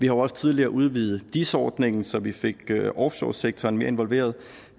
jo også tidligere udvidet dis ordningen så vi fik offshoresektoren mere involveret